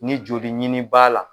Ni joli ɲini b'a la